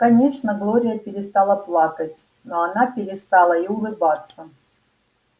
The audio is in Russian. конечно глория перестала плакать но она перестала и улыбаться